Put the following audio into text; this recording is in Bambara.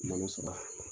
Malo sɔrɔ